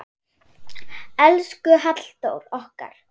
Elsku Halldór okkar.